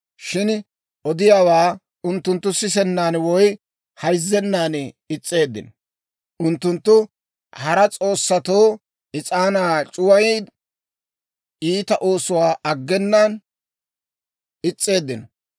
Shin odiyaawaa unttunttu sisennan woy hayzzennan is's'eeddino. Unttunttu hara s'oossatoo is'aanaa c'uwayiyaa iita oosuwaa aggenaan is's'eeddino.